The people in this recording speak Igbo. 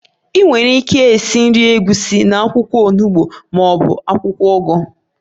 Ị nwere ike esi nri egusi na akwụkwọ onugbo ma ọ bụ akwụkwọ ugu